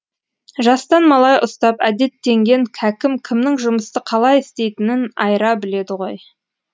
жастан малай ұстап әдеттенген кәкім кімнің жұмысты қалай істейтінін айыра біледі ғой